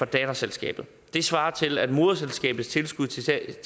datterselskabet det svarer til at moderselskabets tilskud til et